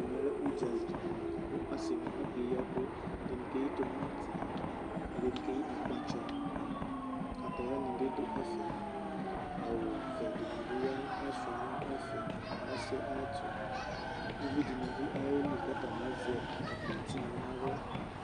ɛmɛ lɛ ʋdzali kʋ asii ni akɛ yii ɛkʋ, ɛdinikɛyi tʋmanti, ɛdinibi kɛyi akpatsɔ, kataya nibi dʋ ɛƒɛ awʋ vɛ dinibi yanʋ, asʋa nʋ ɛƒɛ ɔsiiɛ ayɛtʋ, ʋvii dinibi ayɛli kʋ azɛ akpɔ tinya nʋ ala